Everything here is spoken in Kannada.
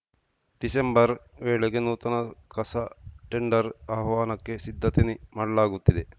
ಡಿಸೆಂಬರ್‌ ವೇಳೆಗೆ ನೂತನ ಕಸ ಟೆಂಡರ್‌ ಆಹ್ವಾನಕ್ಕೆ ಸಿದ್ಧತೆ ಮಾಡಲಾಗುತ್ತಿದೆ